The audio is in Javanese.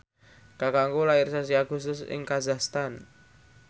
kakangku lair sasi Agustus ing kazakhstan